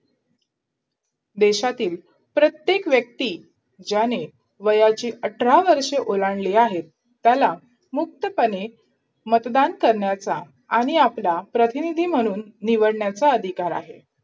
देशातील प्रत्येक व्यक्ती ज्याने वयाची अठरा वर्ष ओलांडली आहेत त्याला मुक्तपणे मतदान करण्याचा आणि आपला प्रतिनिधी म्हणून निवडण्याचा अधिकार आहे